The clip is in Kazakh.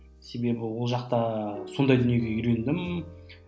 себебі ол жақта сондай дүниеге үйрендім